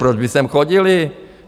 Proč by sem chodili?